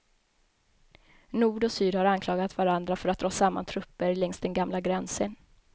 Nord och syd har anklagat varandra för att dra samman trupper längs den gamla gränsen.